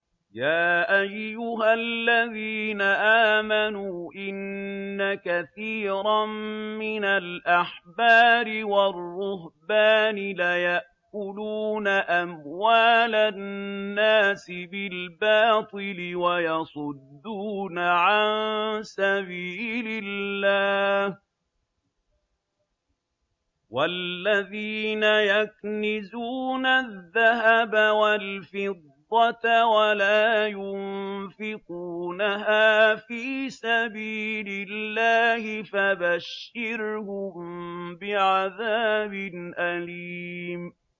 ۞ يَا أَيُّهَا الَّذِينَ آمَنُوا إِنَّ كَثِيرًا مِّنَ الْأَحْبَارِ وَالرُّهْبَانِ لَيَأْكُلُونَ أَمْوَالَ النَّاسِ بِالْبَاطِلِ وَيَصُدُّونَ عَن سَبِيلِ اللَّهِ ۗ وَالَّذِينَ يَكْنِزُونَ الذَّهَبَ وَالْفِضَّةَ وَلَا يُنفِقُونَهَا فِي سَبِيلِ اللَّهِ فَبَشِّرْهُم بِعَذَابٍ أَلِيمٍ